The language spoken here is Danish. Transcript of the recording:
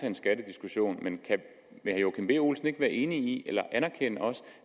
en skattediskussion men kan herre joachim b olsen ikke være enig i eller anerkende